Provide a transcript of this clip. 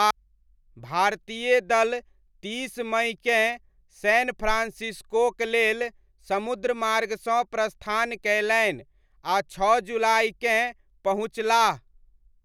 भारतीय दल तीस मइकेँ सैन फ्रान्सिस्कोक लेल समुद्रमार्गसँ प्रस्थान कयलनि आ छओ जुलाइकेँ पहुँचलाह।